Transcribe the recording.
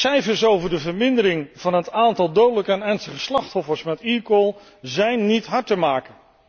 Cijfers over de vermindering van het aantal dodelijke en ernstig gewonde slachtoffers met eCall zijn niet hard te maken.